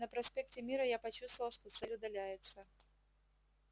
на проспекте мира я почувствовал что цель удаляется